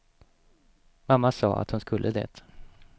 Mamma sa att hon skulle det.